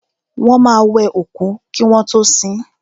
Wọ́n máa wẹ òkú kí wọ́n tọ́ sin.